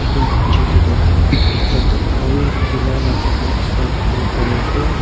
Etu picture tey tu ekta gare dhula la jaka ekta dekhe bo pare ase.